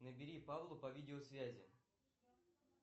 набери павлу по видеосвязи